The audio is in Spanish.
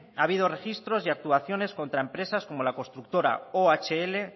ha habido registros y actuaciones contra empresas como la constructora ohl